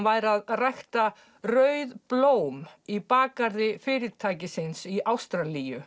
væri að rækta rauð blóm í bakgarði fyrirtækisins í Ástralíu